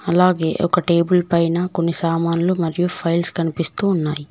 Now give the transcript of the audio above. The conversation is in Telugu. అలాగే ఒక టేబుల్ పైనా కొన్ని సామాన్లు మరియు ఫైల్స్ కనిపిస్తూ ఉన్నాయి.